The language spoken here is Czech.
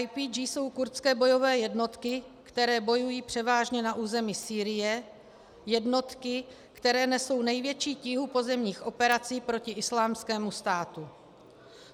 YPG jsou kurdské bojové jednotky, které bojují převážně na území Sýrie, jednotky, které nesou největší tíhu pozemních operací proti Islámskému státu.